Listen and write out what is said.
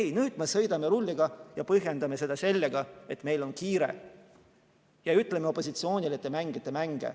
Ei, nüüd me sõidame rulliga ja põhjendame seda sellega, et meil on kiire, ja ütleme opositsioonile: te mängite mänge.